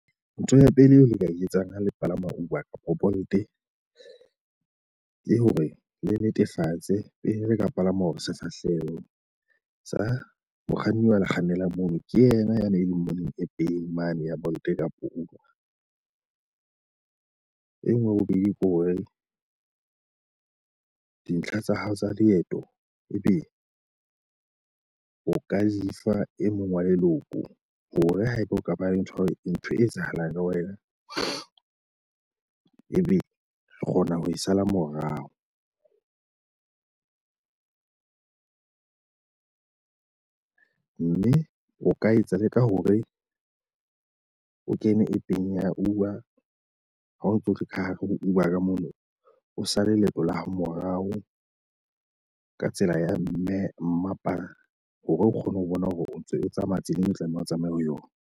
Ntho ya pele eo le ka e etsang ha le palama Uber kapa Bolt e le hore le netefatse pele re ka palama hore se sa hlahelwe sa mokganni wa le kgannela mono ke yena yane e leng mo neng e peying mono ya Bolt kapa Uber ng. E nngwe ya bobedi ke hore dintlha tsa hao tsa leeto ebe o ka di fa e mong wa leloko hore haeba ho kaba le ntho ntho e etsahalang ka wena e be re kgona ho e sala morao. Mme o ka etsa leka hore o kene App-ng ya Uber. Ha o tso le ka hare ho Uber ka mono o sale leeto la hao morao ka tsela ya mme mmapa hore o kgone ho bona hore o ntso o tsamaya tseleng, o tlamehang ho tsamaya ho yona.